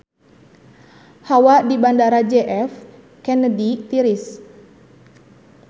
Hawa di Bandara J F Kennedy tiris